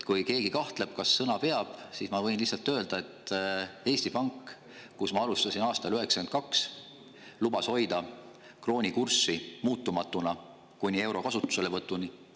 Kui keegi kahtleb, kas sõna peab, siis ma võin lihtsalt öelda, et Eesti Pank, kus ma alustasin aastal 1992, lubas hoida krooni kurssi muutumatuna kuni euro kasutuselevõtuni.